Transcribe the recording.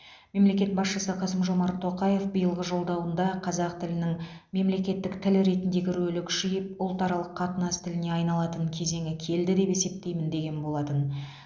мемлекет басшысы қасым жомарт тоқаев биылғы жолдауында қазақ тілінің мемлекеттік тіл ретіндегі рөлі күшейіп ұлтаралық қатынас тіліне айналатын кезеңі келді деп есептеймін деген болатын